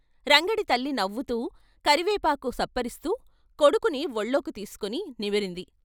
రంగడి తల్లి నవ్వుతూ కరివేపాకు చప్పరిస్తూ కొడుకుని వొళ్ళోకి తీసుకుని నిమిరింది.